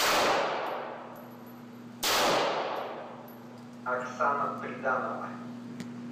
оксана приданова